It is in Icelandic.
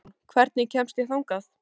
Auðrún, hvernig kemst ég þangað?